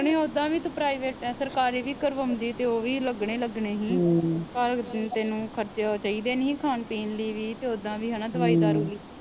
ਨਹੀਂ ਓਦਾਂ ਵੀ ਤੂੰ ਪ੍ਰਾਈਵੇਟ ਆ ਸਰਕਾਰੀ ਵੀ ਕਰਵਾਉਂਦੀ ਤਾ ਓਵੀ ਲਗਣੇ ਲੱਗਣੇ ਹੀ ਪਰ ਤੈਨੂੰ ਖਰਚਾ ਚਾਹੀਦੇ ਨਹੀਂ ਹੀ ਖਾਨ ਪੀਣ ਲਈ ਵੀ ਤੇ ਓਦਾਂ ਵੀ ਦਵਾਈ ਦਾਰੂ ਲਈ।